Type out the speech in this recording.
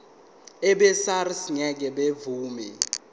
abesars ngeke bavuma